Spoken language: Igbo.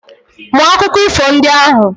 Mụọ akụkọ ifo ndị ahụ